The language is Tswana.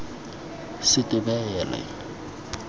setebele